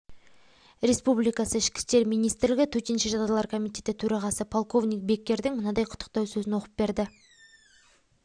республикасы ішкі істер министрлігі төтенше жағдайлар комитеті төрағасы полковник беккердің мынадай құттықтау сөзін оқып берді